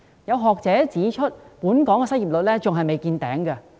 有學者指出，本港失業率仍未達頂峰。